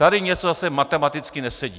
Tady něco zase matematicky nesedí.